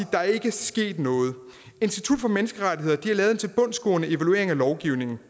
der ikke er sket noget institut for menneskerettigheder har lavet en tilbundsgående evaluering af lovgivningen